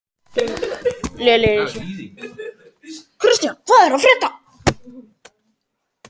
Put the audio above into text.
Kristian, hvað er að frétta?